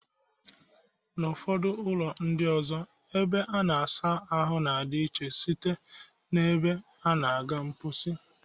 N'ụfọdụ ụlọ ndị ọzọ, ebe a na-asa ahụ na-adị iche site n'ebe a na-aga mkposi